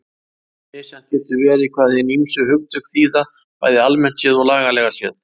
Misjafnt getur verið hvað hin ýmsu hugtök þýða bæði almennt séð og lagalega séð.